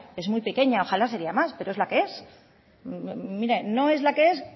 es muy pequeña ojala sería más pero es la que es mire no es la que es